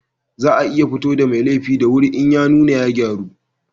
Za a iya fito da mai laifi da wuri in ya nuna ya gyaru